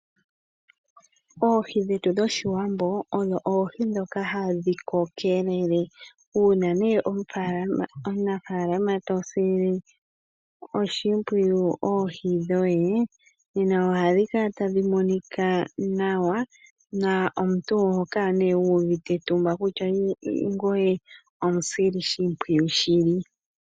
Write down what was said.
Oohi dhetu dhoshiwambo odho oohi dhoka hadhi kokelele. Uuna omunafaalama to sile oshimpwiyu oohi dhoye, nena oha dhi kala tadhi monika nawa, na omuntu oho kala wu uvite etumba kutya ngoye omusili shimpwiyu shili.